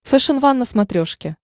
фэшен ван на смотрешке